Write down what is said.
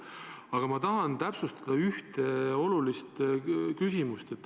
Aga ma tahan täpsustada ühte olulist küsimust.